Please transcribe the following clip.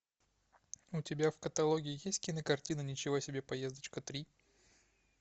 у тебя в каталоге есть кинокартина ничего себе поездочка три